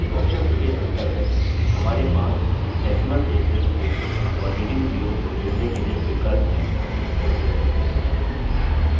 options के अंतर्गत हमारे पास decimal places decimal places को और leading zeroes को जोड़ने के लिए विकल्प है